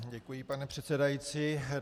Děkuji, pane předsedající.